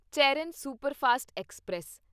Cheran superfast express